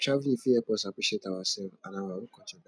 traveling fit help us appreciate ourselves and our own culture better